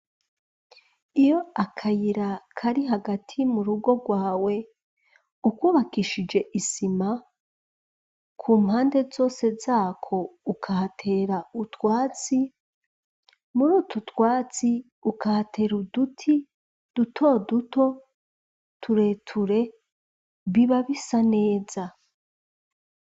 Iyo akayira kari hagati mu rugo rwawe ukwubakishije isima ku mpande zose zako ukahatera utwatsi muri utu utwatsi ukahatera uduti duto duto tureture biba bisa neza.